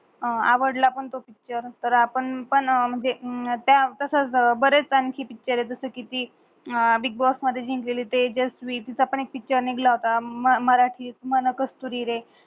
आवडलं पण त्यो पिक्चर तर आपण म्हंजे त्या तस बरे छान कि पिक्चर आहे जस कि ती बिग बॉस मधे जिंकलेली तेजस्वी तिझ्या पण एक पिक्चर निगला हुता. म मराटी, मन कस्तुरी रे